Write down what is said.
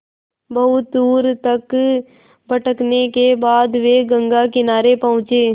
बहुत दूर तक भटकने के बाद वे गंगा किनारे पहुँचे